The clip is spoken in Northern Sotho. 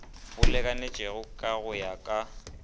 bo lekanetšego go ya ka